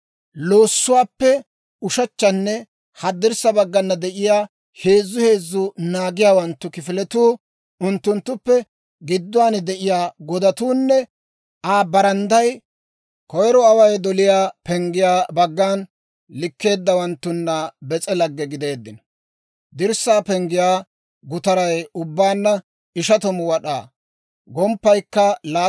Loossuwaappe ushechchanne haddirssa baggana de'iyaa heezzu heezzu naagiyaawanttu kifiletuu, unttunttuppe gidduwaan de'iyaa godatuunne Aa barandday koyiro Away doliyaa Penggiyaa baggan likkeeddawanttuna bis'e lagge gideeddino. Dirssaa penggiyaa gutaray ubbaanna 50 wad'aa; gomppaykka 25 wad'aa.